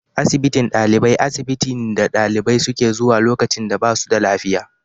Asibitin ɗalibai, asibitin ne dalibai suke zuwa lokacin da ba su da lafiya.